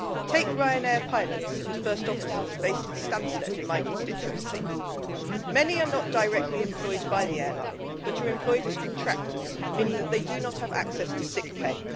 Take Ryanair pilots and first officers, based at Stansted in my constituency. Many are not directly employed by the airline but are employed as contractors, meaning that they do not have access to sick pay.